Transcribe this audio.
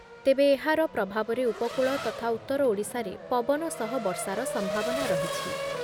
ତେବେ ଏହାର ପ୍ରଭାବରେ ଉପକୂଳ ତଥା ଉତ୍ତର ଓଡ଼ିଶାରେ ପବନ ସହ ବର୍ଷାର ସମ୍ଭାବନା ରହିଛି ।